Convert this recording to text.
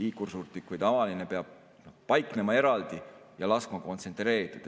liikursuurtükk või tavaline, peab paiknema eraldi ja laskma kontsentreeritult.